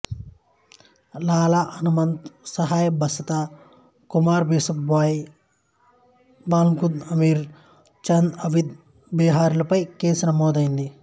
లాలా హనుమంత్ సహాయ్ బసంత కుమార్ బిశ్వాస్ భాయ్ బల్ముకుంద్ అమీర్ చంద్ అవధ్ బెహారీలపై కేసు నమోదైంది